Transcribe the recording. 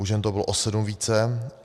U žen to bylo o 7 více.